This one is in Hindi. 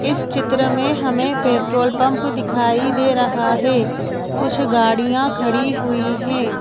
इस चित्र में हमें पेट्रोल पंप दिखाई दे रहा है कुछ गाड़ियां खड़ी हुई हैं।